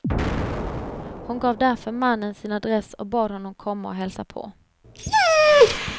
Hon gav därför mannen sin adress och bad honom komma och hälsa på.